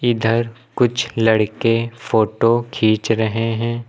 इधर कुछ लड़के फोटो खींच रहे हैं।